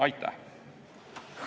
Aitäh!